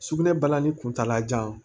Sugunɛ balani kuntala jan